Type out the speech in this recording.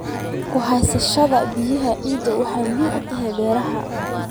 Ku haysashada biyaha ciidda waxay muhiim u tahay beeraha.